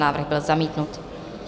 Návrh byl zamítnut.